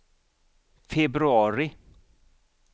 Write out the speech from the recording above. februari